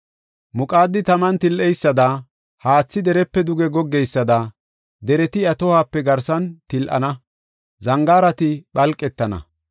Muqaadi taman til77eysada, haathi derepe duge goggeysada, dereti iya tohuwape garsan til7ana; zangaarati phalqetana.